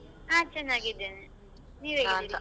ನಾನ್ ಚೆನ್ನಾಗಿದ್ದೇನೆ ನೀವ್ ?